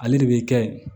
Ale de bɛ kɛ ye